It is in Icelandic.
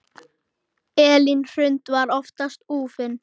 Elín Hrund var oftast úfin.